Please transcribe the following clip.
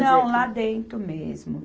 Não, lá dentro mesmo.